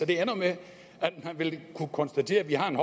det ender med at man vil kunne konstatere at vi har en